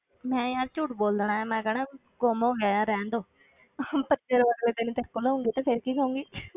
ਮੈਂ ਯਾਰ ਝੂਠ ਬੋਲ ਦੇਣਾ ਹੈ, ਮੈਂ ਕਹਿਣਾ ਗੁੰਮ ਹੋ ਗਿਆ ਹੈ ਰਹਿਣ ਦਓ ਤੇਰੇ ਕੋਲ ਆਊਂਗੀ ਤੇ ਫਿਰ ਕੀ ਕਹੂੰਗੀ